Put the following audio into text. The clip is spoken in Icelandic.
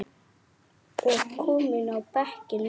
og kominn á bekkinn núna?